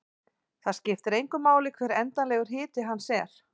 Það skiptir engu máli hver endanlegur hiti hans er.